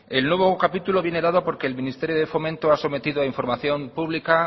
el nuevo capítulo viene dado porque el ministerio de fomento ha sometido a información pública